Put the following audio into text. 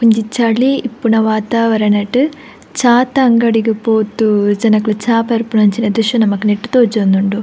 ಒಂಜಿ ಚಳಿ ಇಪ್ಪುನ ವತಾವರಣ ಟ್ ಚಾತ ಅಂಗಡಿಗ್ ಪೋದು ಜನೊಕುಲು ಚಾ ಪರ್ಪುನಂಚಿನ ದ್ರಶ್ಯ ನಮಕ್ ತೋಜೊಂದುಂಡು.